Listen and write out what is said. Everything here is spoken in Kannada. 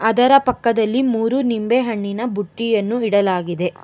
ಅದರ ಪಕ್ಕದಲ್ಲಿ ಮೂರು ನಿಂಬೆ ಹಣ್ಣಿನ ಬುಟ್ಟಿಯನ್ನು ಇಡಲಾಗಿದೆ.